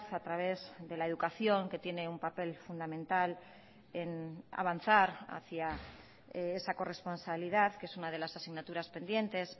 a través de la educación que tiene un papel fundamental en avanzar hacia esa corresponsabilidad que es una de las asignaturas pendientes